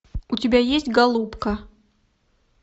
у тебя есть голубка